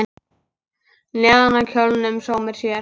Neðan á kjólnum sómir sér.